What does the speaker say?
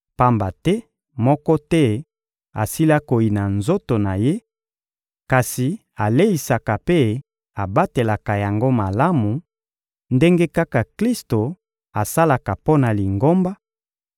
Pamba te moko te asila koyina nzoto na ye; kasi aleisaka mpe abatelaka yango malamu, ndenge kaka Klisto asalaka mpo na Lingomba,